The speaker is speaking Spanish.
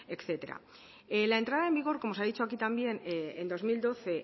etcétera la entrada en vigor como se ha dicho aquí también en dos mil doce